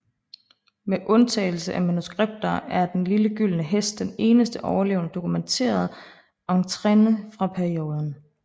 Med undtagelse af manuskripter er Den lille gyldne Hest den eneste overlevende dokumenterede étrennes fra perioden